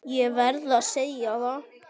Ég verð að segja það.